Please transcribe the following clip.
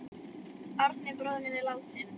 Árni bróðir minn er látinn.